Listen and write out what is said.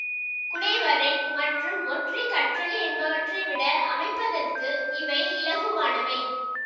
குடைவரை மற்றும் ஒற்றை கற்றளி என்பவற்றைவிட அமைப்பதற்கு இவை இலகுவானவை